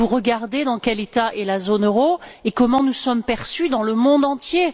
Regardez vous dans quel état est la zone euro et comment nous sommes perçus dans le monde entier?